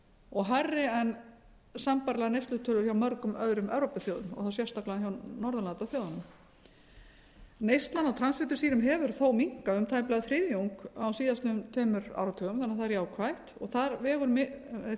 og hærri en sambærilegar neyslutölur hjá mörgum öðrum evrópuþjóðum og þá sérstaklega hjá norðurlandaþjóðunum neysla á transfitusýrum hefur þó minnkað um tæplega þriðjung á síðastliðnum tveimur áratugum þannig að það er jákvætt og þar vegur